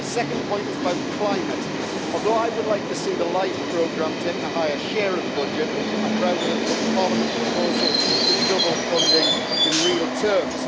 My second point is about climate. Although I would like to see the LIFE programme taking a higher share of the budget, I'm proud of the Parliament proposal to double funding in real terms.